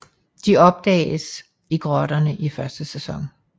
De opdages i grotterne i første sæson